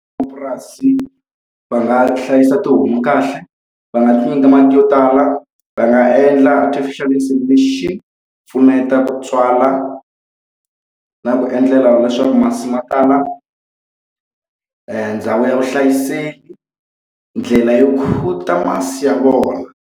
va nga hlayisa tihomu kahle. Va nga ti nyika mati yo tala, va nga endla artificial insemination pfuneta ku tswala na ku endlela leswaku masi ma tala. Ndhawu ya vuhlayiseki, ndlela yo masi ya vona.